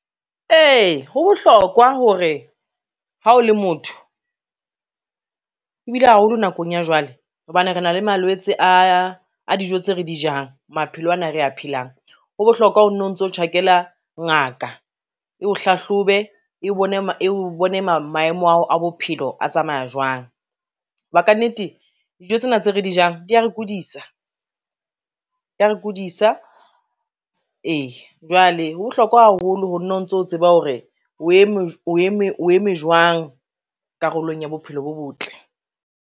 Ee, ho bohlokwa hore ha o le motho, ebile haholo nakong ya jwale hobane re na le malwetse a dijo tse re di jang maphelo ana a re a phelang, ho bohlokwa ho no ntso tjhakela ngaka eo hlahlobe, eo bone maemo a bophelo a tsamaya jwang. Ho ba ka nnete, dijo tsena tse re di jang di ya re kodisa, di ya re kodisa, e jwale ho bohlokwa haholo ho nna o ntso tseba hore o eme jwang karolong ya bophelo bo botle.